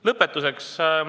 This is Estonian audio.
Lõpetuseks.